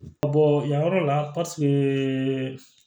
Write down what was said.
yan yɔrɔ la